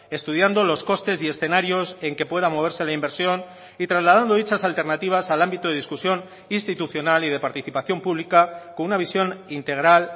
estudiando los costes y escenarios en que pueda moverse la inversión y trasladando dichas alternativas al ámbito de discusión institucional y de participación pública con una visión integral